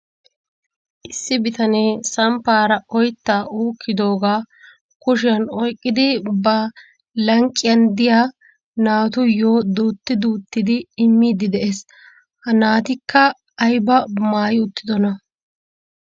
Issi bitanee samppaara oytta uukkdooga kushiyan oyqqidi ba lanqqiyan diya naatuyyo duutti duuttidi immidi de'ees. Ha naatikka aybba maayi uttidoona?